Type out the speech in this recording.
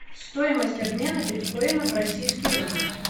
стоимость обмена биткоина в российский рубль